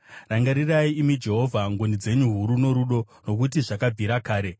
Rangarirai, imi Jehovha, ngoni dzenyu huru norudo, nokuti zvakabvira kare.